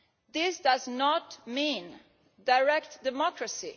This does not mean direct democracy.